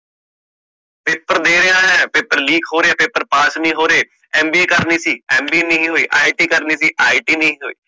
paper ਦੇ ਰਿਹਾ paper leak ਹੋ ਰਿਹਾ paper ਨੀ ਹੋਰੇ MBA ਕਰਨੀ ਸੀ MBA ਨੀ ਹੋਇ IIT ਕਰਨੀ ਸੀ IIT ਨੀ ਹੋਇ